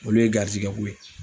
Olu ye garizigɛ ko ye.